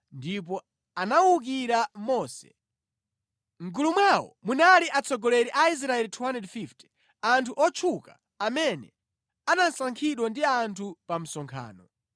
ndipo anawukira Mose. Mʼgulu mwawo munali atsogoleri a Aisraeli 250, anthu otchuka amene anasankhidwa ndi anthu pa msonkhano.